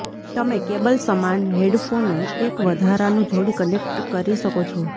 તમે કેબલ સમાન હેડફોનો એક વધારાનું જોડી કનેક્ટ કરી શકો છો